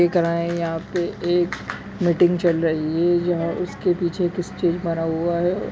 यहाँ पे एक मीटिंग चल रही है यहां उसके पीछे एक स्टील बना हुआ है।